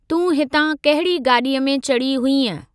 तूं हितां कहिड़ी गाॾीअ में चढ़ी हुईअं?